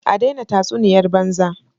A daina tatsuniyar banza!!!